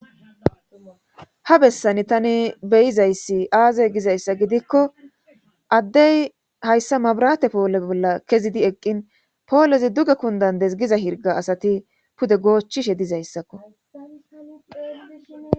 ha bessani tani beyizayssi aaze gizayssa gidikko addey hayssa mabrate poole bolla kezidi eqqin poolezi duge kundandes giza hirga asati pude goochchishe dizayssakko